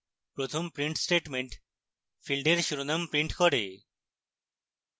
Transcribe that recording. প্রথম print statement ফীল্ডের শিরোনাম print করে